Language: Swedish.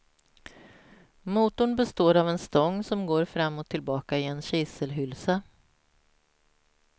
Motorn består av en stång som går fram och tillbaka i en kiselhylsa.